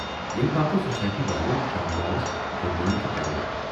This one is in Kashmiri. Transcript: ییمہِ باپتھ سوسایٹی والٮ۪و شام لالس جُرمانہِ تہِ کرییو۔